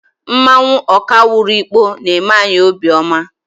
Mmanwụ Okawaru Ikpo na-eme anyị obiọma.